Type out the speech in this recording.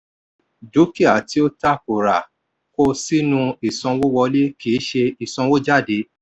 dúkìá tí ó ta kora kó sínú ìsanwówọlé kì í ṣe ìsànwójádé.